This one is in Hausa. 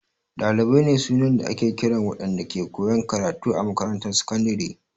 Dalibai ne sunan da ake kiran waɗanda ke koyan karatu a makarantar sakandare.